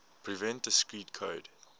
prevent discrete code